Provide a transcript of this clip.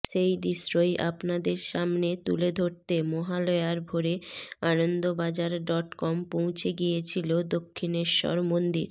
সেই দৃশ্যই আপনাদের সামনে তুলে ধরতে মহালয়ার ভোরে আনন্দবাজার ডট কম পৌঁছে গিয়েছিল দক্ষিণেশ্বর মন্দির